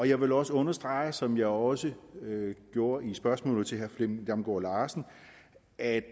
jeg vil også understrege som jeg også gjorde i spørgsmålet til herre flemming damgaard larsen at